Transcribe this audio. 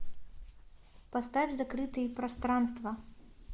поставь закрытые пространства